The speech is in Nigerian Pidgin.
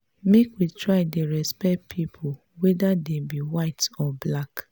make we try dey respect pipu whether dem be white or black.